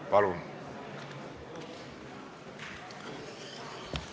Palun!